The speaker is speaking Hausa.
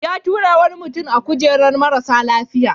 Ya tura wani mutum a kujerar marasa lafiya.